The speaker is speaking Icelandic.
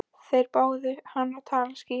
Þeir báðu hann að tala skýrar.